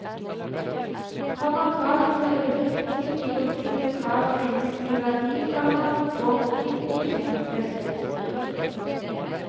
Kommer kravet til øket profitt i konflikt med kravet om menneskelig verdi, komma må profitten bekjempes. punktum